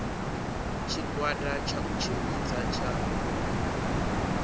tshigwada tsha u tshimbidza tsha